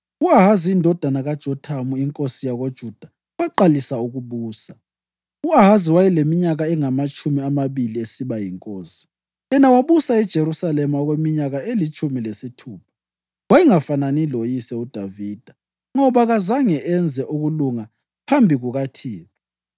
U-Ahazi wayeleminyaka engamatshumi amabili esiba yinkosi, yena wabusa eJerusalema okweminyaka elitshumi lesithupha. Wayengafanani loyise uDavida, ngoba kazange enze ukulunga phambi kukaThixo.